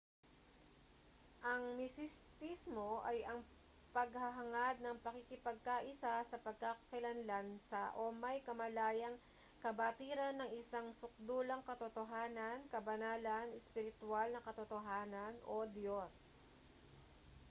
ang misistismo ay ang paghahangad ng pakikipagkaisa sa pagkakakilanlan sa o may kamalayang kabatiran ng isang sukdulang katotohanan kabanalan ispiritwal na katotohanan o diyos